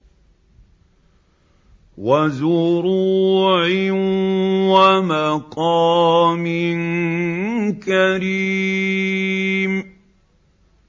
وَزُرُوعٍ وَمَقَامٍ كَرِيمٍ